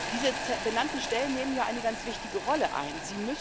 Diese benannten Stellen nehmen ja eine ganz wichtige Rolle ein.